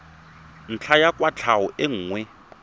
ntlha ya kwatlhao e nngwe